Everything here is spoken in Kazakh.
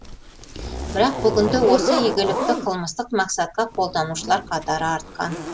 бірақ бүгінде осы игілікті қылмыстық мақсатқа қолданушылар қатары артқан